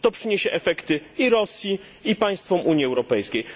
To przyniesie efekty i Rosji, i państwom Unii Europejskiej.